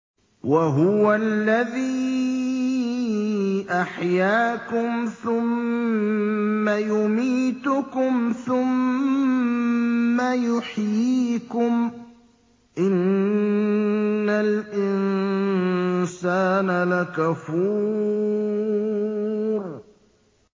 وَهُوَ الَّذِي أَحْيَاكُمْ ثُمَّ يُمِيتُكُمْ ثُمَّ يُحْيِيكُمْ ۗ إِنَّ الْإِنسَانَ لَكَفُورٌ